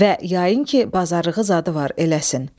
Və yayın ki, bazarlığı zadı var eləsin.